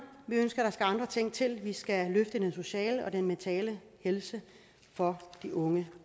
vi ønsker at der skal andre ting til vi skal løfte den sociale og den mentale helse for de unge